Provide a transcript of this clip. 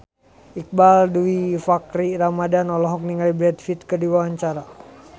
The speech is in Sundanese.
Iqbaal Dhiafakhri Ramadhan olohok ningali Brad Pitt keur diwawancara